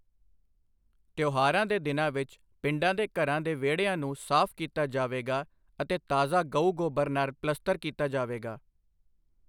ਤਿਉਹਾਰਾਂ ਦੇ ਦਿਨਾਂ ਵਿੱਚ, ਪਿੰਡਾਂ ਦੇ ਘਰਾਂ ਦੇ ਵਿਹੜਿਆਂ ਨੂੰ ਸਾਫ਼ ਕੀਤਾ ਜਾਵੇਗਾ ਅਤੇ ਤਾਜ਼ਾ ਗਊ ਗੋਬਰ ਨਾਲ ਪਲੇਸਟਰ ਕੀਤਾ ਜਾਵੇਗਾ।